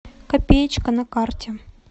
копеечка на карте